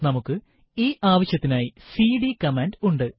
നമുക്ക് ഈ ആവശ്യത്തിനായി സിഡി കമാൻഡ് ഉണ്ട്